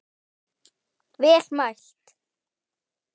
Vel mælt.